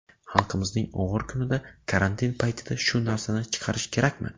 Xalqimizning og‘ir kunida, karantin paytida shu narsani chiqarish kerakmi?